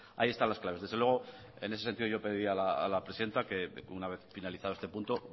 ahí están las claves desde luego en ese sentido yo pediría a la presidenta que una vez finalizado este punto